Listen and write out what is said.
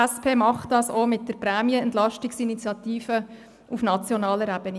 die SP macht das auch mit der «Prämien-Entlastungs-Initiative» auf nationaler Ebene.